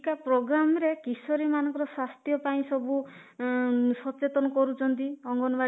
ପ୍ରୋଗ୍ରାମରେ କିଶୋରୀ ମାନଙ୍କ ସ୍ୱାସ୍ଥ୍ୟ ପାଇଁ ସବୁ ଉମ ସଚେତନ କରୁଛନ୍ତି ଅଙ୍ଗନବାଡି